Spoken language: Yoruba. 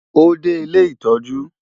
Ó dé ilé ìtọ́jú.